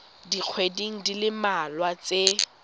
dikgweding di le mmalwa tse